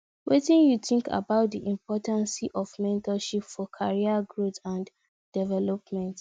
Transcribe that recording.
wetin you think about di importance of mentorship for career growth and development